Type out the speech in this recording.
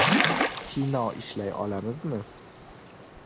Kino ishlay olamizmi?